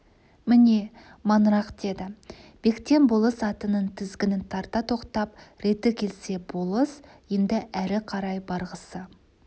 міне маңырақ деді бектен болыс атының тізгінін тарта тоқтап реті келсе болыс енді әрі қарай барғысы